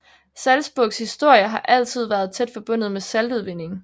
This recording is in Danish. Salzburgs historie har altid været tæt forbundet med saltudvinding